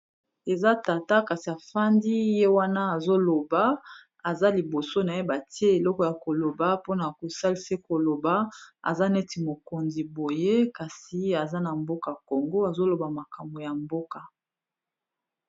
Eza tata kasi afandi ye wana azoloba aza liboso naye batie eloko ya koloba mpona kosalisa koloba aza neti mokonzi boye kasi aza na mboka Congo azoloba makambo ya mboka.